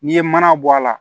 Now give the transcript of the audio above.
N'i ye mana bɔ a la